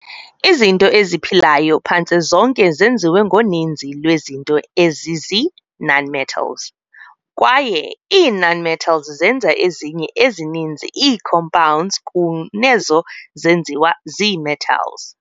Izinto eziphilayo phantse zonke zenziwe ngoninzi lwezinto ezizii- nonmetals, kwaye ii-nonmetals zenza ezinye ezininzi ii-compounds kunezo zenziwa zii-metals.